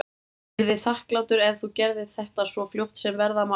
Ég yrði þakklátur ef þú gerðir þetta svo fljótt sem verða má.